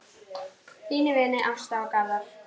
Þínir vinir Ásta og Garðar.